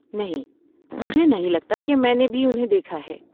نہیں، مجھے نہیں لگتا کہ میں نے بھی انہیں دیکھا ہے۔